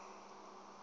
ke re o ya le